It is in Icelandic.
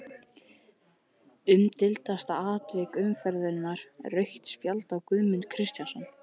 Umdeildasta atvik umferðarinnar: Rautt spjald á Guðmund Kristjánsson?